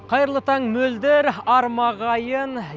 қайырлы таң мөлдір арма ағайын